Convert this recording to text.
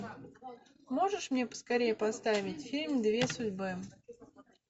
можешь мне поскорее поставить фильм две судьбы